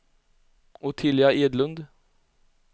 Ottilia Edlund